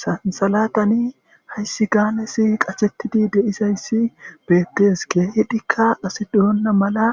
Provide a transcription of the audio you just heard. Sansalatani haysi gaanezi qashetidi de'izaysi beetes keehidika asi doona mala